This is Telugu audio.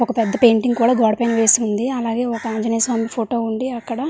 ఒక పెద్ద పెయింటింగ్ కూడా గోడ పైన వేసివుంది అలాగే ఒక ఆంజినేయస్వామి ఫోటో ఉంది అక్కడ.